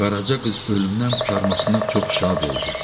Qaraca qız ölümdən qurtarmasına çox şad oldu.